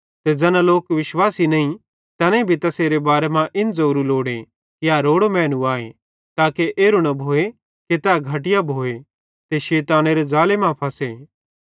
ते ज़ैना लोक विश्वासी नईं तैनेईं भी तैसेरे बारे मां इन ज़ोरू लोड़े कि ए रोड़ो मैनू आए ताके एरू न भोए कि तै घटिया भोए ते शैतानेरे ज़ाले मां फंसे